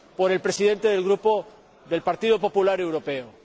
del Presidente del Grupo del Partido Popular Europeo.